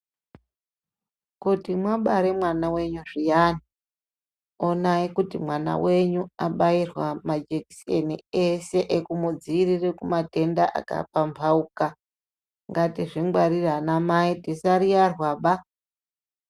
Kuti mabare mwana venyu zviyani onai kuti mwana venyu abairwa majikiseni ese ekumudzivirire kumatenda akapamhauka, ngatizvingwarire ana mai tisariyarwaba.